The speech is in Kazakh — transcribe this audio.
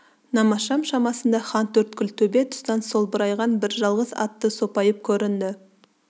намазшам шамасында хантөрткіл төбе тұстан солбырайған бір жалғыз атты сопайып көрінді